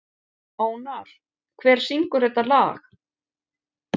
Ónar, hver syngur þetta lag?